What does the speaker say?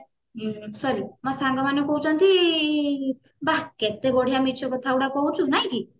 sorry ମୋ ସାଙ୍ଗମାନଙ୍କୁ କହୁଛନ୍ତି ବା କେତେବଢିଆ ମିଛ କଥାଗୁଡାକ କହୁଛୁ ନାଇକି